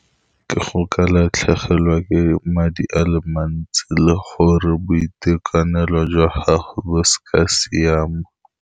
Ka go ka latlhegelwa ke madi a le mantsi le gore boitekanelo jwa gago bo seka ba siama.